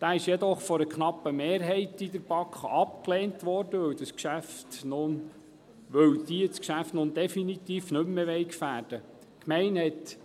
Dieser wurde jedoch von einer knappen Mehrheit der BaK abgelehnt, weil sie das Geschäft nun definitiv nicht mehr gefährden will.